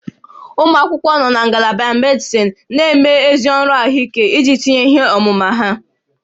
Ụmụ akwụkwọ nọ na Ngalaba medịsịn na-eme ezi ọrụ ahụike iji tinye ihe ọmụma ha